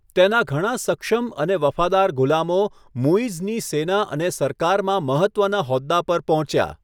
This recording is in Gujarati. તેના ઘણા સક્ષમ અને વફાદાર ગુલામો મુઈઝની સેના અને સરકારમાં મહત્ત્વના હોદ્દા પર પહોંચ્યા.